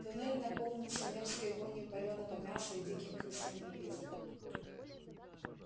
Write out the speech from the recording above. туннель наполнился мерзкой вонью палёного мяса и диким крысиным визгом